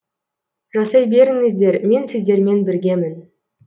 жасай беріңіздер мен сіздермен біргемін